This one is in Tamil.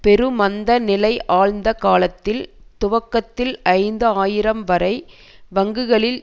பெரு மந்த நிலை ஆழ்ந்த காலத்தில் துவக்கத்தில் ஐந்து ஆயிரம் வரை வங்கிகளில்